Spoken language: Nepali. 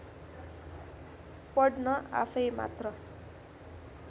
पढ्न आफैमात्र